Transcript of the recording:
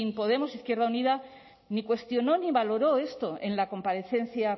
podemos e izquierda unida ni cuestionó ni valoró esto en la comparecencia